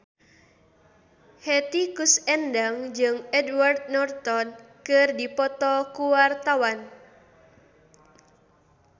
Hetty Koes Endang jeung Edward Norton keur dipoto ku wartawan